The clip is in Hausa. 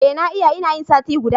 Eh na yi, ina yin sati guda.